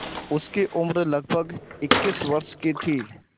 उसकी उम्र लगभग इक्कीस वर्ष की थी